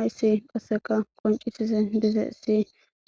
Aysi qasseka qoncisis dizeessi